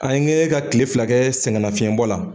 An kɛɲɛ ka kile fila kɛ sɛgɛn lafiɲɛbɔ la